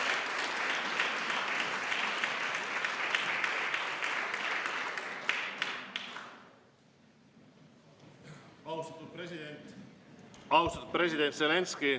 Austatud president Zelenskõi!